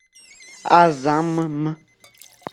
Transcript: азамм